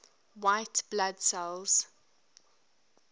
white blood cells